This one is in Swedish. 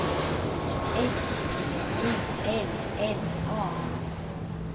S T I L L A